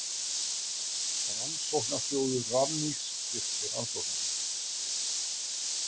Rannsóknasjóður Rannís styrkti rannsóknina